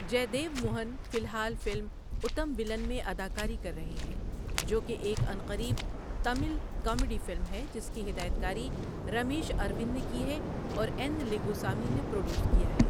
جے دیو موہن فی الحال فلم اُتم ولن میں اداکاری کر رہے ہیں، جو کہ ایک عنقریب تامل کامیڈی فلم ہے جس کی ہدایت کاری رمیش اروِند نے کی ہے اور این لنگوسامی نے پروڈیوس کیا ہے۔